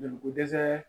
Joli ko dɛsɛ